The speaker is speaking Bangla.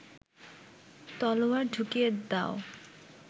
তলোয়ার ঢুকিয়ে দাও